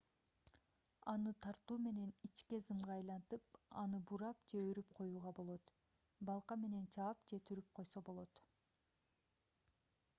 аны тартуу менен ичке зымга айлантып аны бурап же өрүп коюуга болот балка менен чаап же түрүп койсо болот